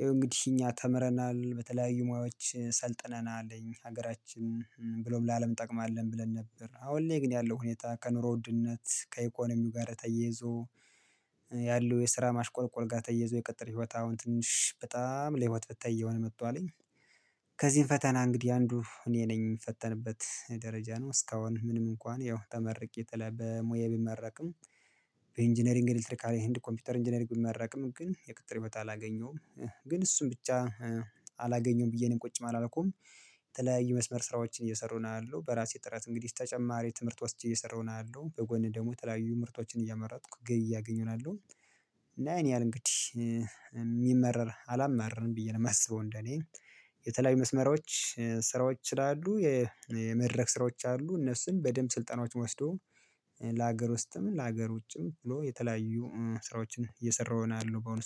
ይኸው እንግዲህ እኛ ተምረናል በተለያዩ ሙያዎች ሰልጥነናል አለኝ ሀገራችንንም ብሎም ለአለም እጠቅማለሁ ብለን ነበር አሁን ላይ ግን ያለው ሁኔታ ከኑሮ ውድነት ከኢኮኖሚው ጋር ተየዞ ያለው የስራ ማሽቆልቆል ጋር ተያይዞ የቅጥር ህይወት አሁን ትንሽ በጣም ለህይወት ፈታኝ የሆነ መጥቷል። ከዚህም ፈተና እንግዲህ አንዱ እኔ ነኝ የምፈተንበት ደረጃ ነው እስካሁን ምንም እንኳን ያው ተመርቄ በተለይ በሙያዬ ብመረቅም። በኢንጂነሪንግ ኤሌክትሪካል ኤንድ ኮምፒውተር ኢንጂነሪንግ ብመረቅም ግን የቅጥር በታ አላገኘሁም። ግን እሱን ብቻ አላገኘውም ብዬ እኔም ቁጭ አላልኩም። የተለያዩ መስመር ስራዎችን እየሰረው ነው ያለው በራሴ ጥረት እንግዲህ ተጨማሪ ትምህርት ወስጄ እየሰራው ነው ያለው በጎን ደግሞ ተለያዩ ምርቶችን እያመረትኩ ገቢ እያገኘው ነው ያለሁት። አለ እንግዲህ የሚማረር አላማርም ብዬ ነው የማስበው እንደኔ። የተለያዩ መስመሮች ስራዎች ስላሉ የመድረክ ስራዎች አሉ እነሱን በደንብ ስልጠናዎች ወስዶ ለሀገር ውስጥም ለሀገር ውጭም ብሎ የተለያዩ ስራዎችን እየሰራሁ ይሆናል ነው በአሁኑ